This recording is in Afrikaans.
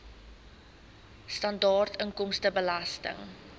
sibw standaard inkomstebelasting